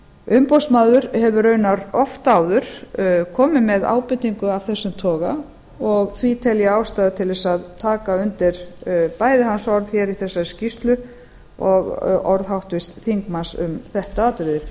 umboðsmaður hefur raunar oft áður komið með ábendingu á þessum toga og því tel ég ástæðu til að taka undir bæði hans orð hér í þessari skýrslu og orð háttvirts þingmanns um þetta atriði